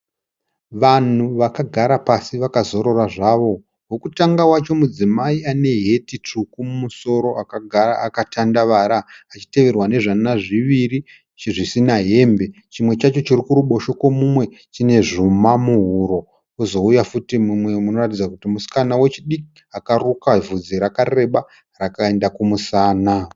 Vanhu vakagara pasi vakazorora zvavo. Wokutanga wacho mudzimai ane heti tsvuku mumusoro akagara akatandavara achiterwa nezvana zviviri zvisina hembe. Chimwe chacho chokuruboshwe kwomumwe chine zvuma muhuro. Kwozouya futi umwe anoratidza kuti musikana wechidiki akaruka bvudzi rakareba rakaenda kumusana.